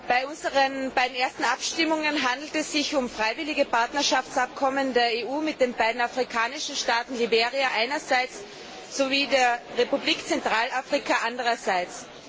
Bei den ersten beiden Abstimmungen handelt es sich um freiwillige Partnerschaftsabkommen der EU mit den beiden afrikanischen Staaten Liberia einerseits sowie der Republik Zentralafrika andererseits.